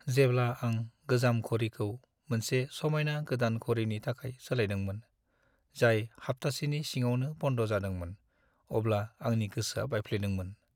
जेब्ला आं गोजाम घोरिखौ मोनसे समायना गोदान घोरिनि थाखाय सोलायदोंमोन, जाय हाब्थासेनि सिङावनो बन्द जादोंमोन, अब्ला आंनि गोसोआ बायफ्लेदोंमोन।